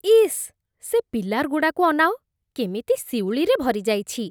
ଇସ୍, ସେ ପିଲାର୍‌ଗୁଡ଼ାକୁ ଅନାଅ । କେମିତି, ଶିଉଳିରେ ଭରିଯାଇଛି ।